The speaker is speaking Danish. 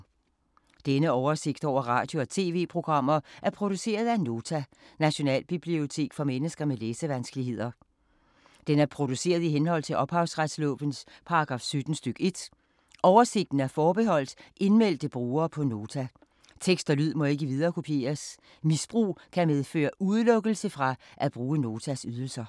Denne oversigt over radio og TV-programmer er produceret af Nota, Nationalbibliotek for mennesker med læsevanskeligheder. Den er produceret i henhold til ophavsretslovens paragraf 17 stk. 1. Oversigten er forbeholdt indmeldte brugere på Nota. Tekst og lyd må ikke viderekopieres. Misbrug kan medføre udelukkelse fra at bruge Notas ydelser.